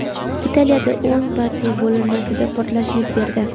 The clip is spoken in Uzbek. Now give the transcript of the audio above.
Italiyada o‘ng partiya bo‘linmasida portlash yuz berdi.